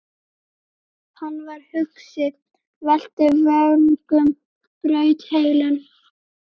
Hann var hugsi, velti vöngum, braut heilann.